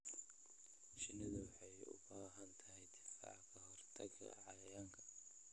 Shinnidu waxay u baahan tahay difaac ka hortagga cayayaanka.